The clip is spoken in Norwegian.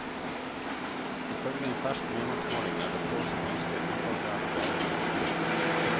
Ifølge en fersk meningsmåling er det få som ønsker ufaglærte lærere i skolen.